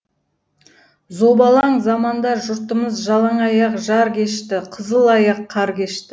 зобалаң заманда жұртымыз жалаң аяқ жар кешті қызыл аяқ қар кешті